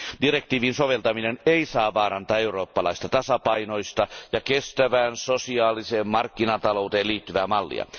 Direktiivin soveltaminen ei saa vaarantaa eurooppalaista tasapainoista ja kestävään sosiaaliseen markkinatalouteen liittyvää mallia.